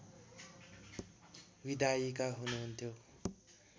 विधायिका हुनुहन्थ्यो